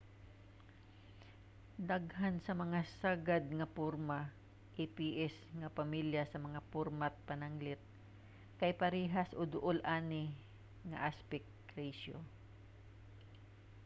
daghan sa mga sagad nga format aps nga pamilya sa mga format pananglit kay parehas o duol ani nga aspect ratio